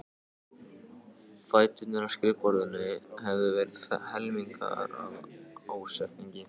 Fæturnir á skrifborðinu höfðu verið helmingaðir af ásetningi.